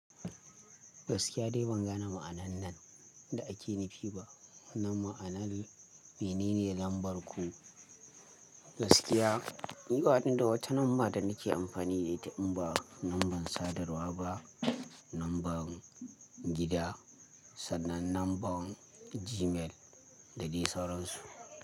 Gaskiya dai ban gane ma'anar nan da ake nufi ba, wanan ma'anar mene ne lambar ku? Gaskiya ni banida wata lamba da nake amfani da ita in ba lambar sadarwa ba, lambar gida sannan lambar Gmail da dai sauran su.